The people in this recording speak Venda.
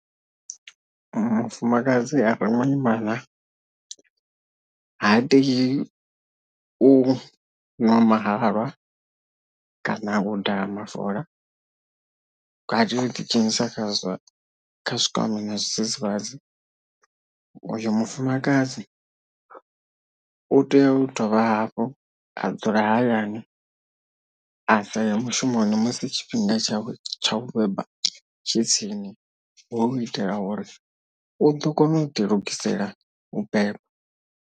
Mufumakadzi are muimana ha tei u ṅwa mahalwa kana u daha mafola katela u ḓi dzhenisa kha zwa kha zwikambi na zwidzidzivhadzi uyo mufumakadzi u tea u dovha hafhu a dzula hayani a sa ye mushumoni musi tshifhinga tsha tshawe tsha u beba tshi tsini hu u itela uri u ḓo kona u ḓi lugisela u beba.